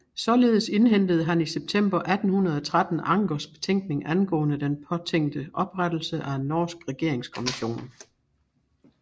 Således indhentede han i september 1813 Ankers betænkning angående den påtænkte oprettelse af en norsk regeringskommission